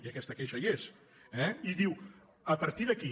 i aquesta queixa hi és eh i diu a partir d’aquí